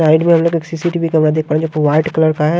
Side में हम लोग एक सीसीटीवी कैमरा देख पा रहे हैं जो वाइट कलर का है।